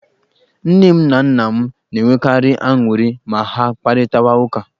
Nne m na nna m na-enwekarị aṅụrị ma ha kparịtawa ụka.